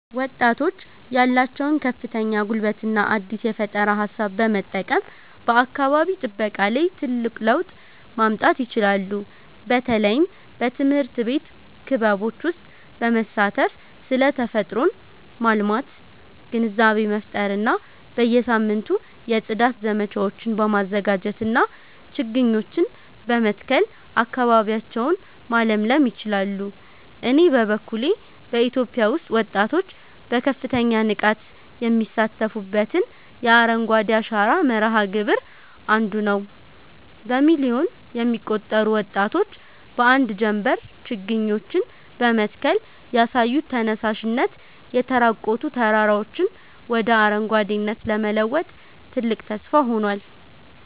ወጣቶች ያላቸውን ከፍተኛ ጉልበትና አዲስ የፈጠራ ሃሳብ በመጠቀም በአካባቢ ጥበቃ ላይ ትልቅ ለውጥ ማምጣት ይችላሉ። በተለይም በትምህርት ቤት ክበቦች ውስጥ በመሳተፍ ስለ ተፈጥሮን ማልማት ግንዛቤ መፍጠር እና በየሳምንቱ የጽዳት ዘመቻዎችን በማዘጋጀትና ችግኞችን በመትከል አካባቢያቸውን ማለምለል ይችላሉ። እኔ በበኩሌ በኢትዮጵያ ውስጥ ወጣቶች በከፍተኛ ንቃት የሚሳተፉበትን የአረንጓዴ አሻራ መርሃ ግብር 1ዱ ነዉ። በሚሊዮን የሚቆጠሩ ወጣቶች በአንድ ጀምበር ችግኞችን በመትከል ያሳዩት ተነሳሽነት፣ የተራቆቱ ተራራዎችን ወደ አረንጓዴነት ለመለወጥ ትልቅ ተስፋ ሆኗል።